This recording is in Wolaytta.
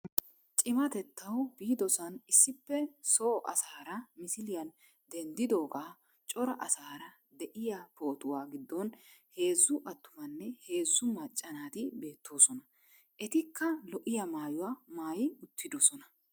Cimatettawu biidosan issipe soo asaara misiliyaan denddidoogaa cora asaara de'iyaa pootuwaa giddon heezzu attumanne heezzu macca naati beettoosona. etikka lo"iyaa maayuwaa maayi uttidoosona.